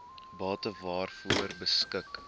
bate waaroor beskik